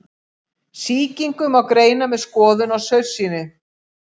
Sýkingu má greina með skoðun á saursýni.